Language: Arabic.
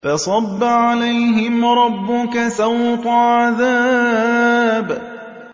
فَصَبَّ عَلَيْهِمْ رَبُّكَ سَوْطَ عَذَابٍ